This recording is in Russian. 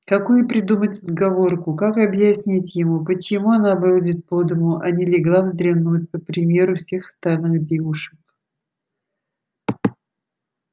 какую придумать отговорку как объяснить ему почему она бродит по дому а не легла вздремнуть по примеру всех остальных девушек